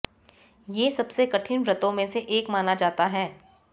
ये सबसे कठिन व्रतों में से एक माना जाता है